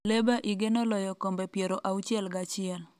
Leba igeno loyo kombe piero auchiel gachiel